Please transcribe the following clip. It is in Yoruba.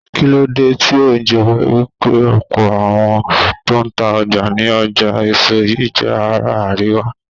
Kíló dé tí ó jẹ́ wípé ọ̀pọ̀ àwọn tó ta ọjà ní ọjà èso yí jé ará àríwá?